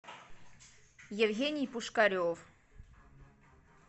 евгений пушкарев